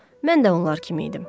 Mən də onlar kimi idim.